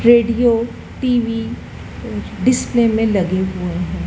Radio TV display में लगे हुए है।